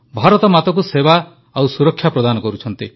ଭାରତମାତାକୁ ସେବା ଓ ସୁରକ୍ଷା ପ୍ରଦାନ କରୁଛନ୍ତି